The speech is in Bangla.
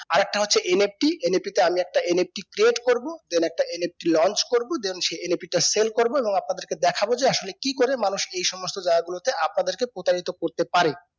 আর একটা হচ্ছে NFT NFT তে আমি একটা NFTcreate করবো then একটা NFTlaunch করবো then সেই NAP টা sale করবো এবং আপনাদের কে দেখাবো যে আসলে কি করে মানুষ কে এই সমস্ত জায়গা গুলো তে আপাদের কে প্রতারিত করতে পারে